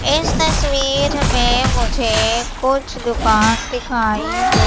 इस तस्वीर में मुझे कुछ दुकान दिखाई दे--